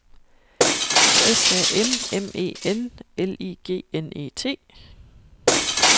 S A M M E N L I G N E T